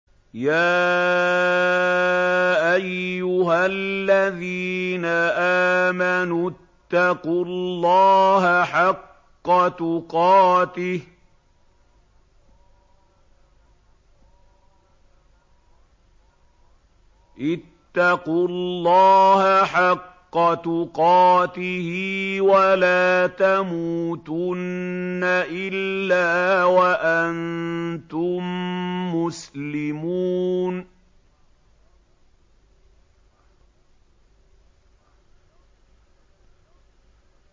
يَا أَيُّهَا الَّذِينَ آمَنُوا اتَّقُوا اللَّهَ حَقَّ تُقَاتِهِ وَلَا تَمُوتُنَّ إِلَّا وَأَنتُم مُّسْلِمُونَ